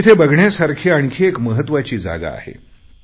पण तिथे बघण्यासारखी आणखी एक महत्त्वाची जागा आहे